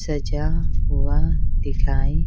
सजा हुआ दिखाई।